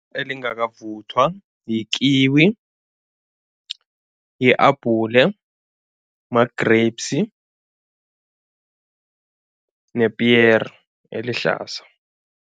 Elingangakavuthwa yi-kiwi, yi-abhule, ma-grapes nepiyere elihlaza.